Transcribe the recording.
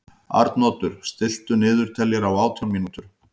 Arnoddur, stilltu niðurteljara á átján mínútur.